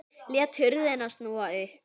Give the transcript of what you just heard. Lét hurðina snúa upp.